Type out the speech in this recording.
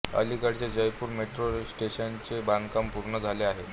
अलीकडेच जयपुर मेट्रो स्टेशनचे बांधकाम पूर्ण झाले आहे